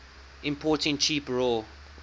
importing cheap raw